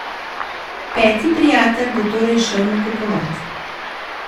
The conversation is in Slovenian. Peti prijatelj bo torej šel nakupovat.